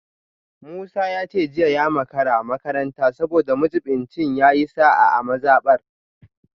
Musa ya ce jiya ya makara makaranta saboda majibincin ya yi sa’a a mazabar